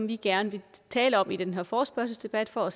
vi gerne vil tale om i den her forespørgselsdebat for at